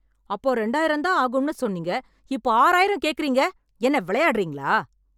அப்போ ரெண்டாயிரம் தான் ஆகும்னு சொன்னீங்க. இப்போ ஆறாயிரம் கேட்குறீங்க!? என்ன விளையாடுறீங்களா?